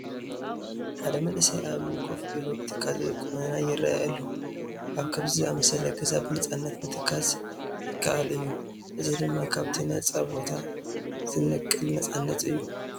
ሓደ መንእሰይ ኣብ እምኒ ኮፍ ኢሉ ብትካዘ ቁመና ይርአ ኣሎ፡፡ ኣብ ከምዚ ዝኣምሰለ ገዛ ብነፃነት ምትካዝ ይከኣል እዩ፡፡ እዚ ድማ ካብቲ ነፃ ቦታ ዝነቅል ነፃነት እዩ፡፡